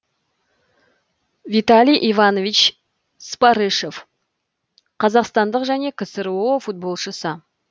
виталий иванович спарышев қазақстандық және ксро футболшысы